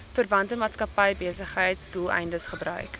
verwante maatskappybesigheidsdoeleindes gebruik